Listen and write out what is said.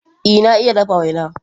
Ee, na iya dafa waina.